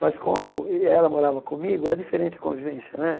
Mas como ela morava comigo, é diferente a convivência, né?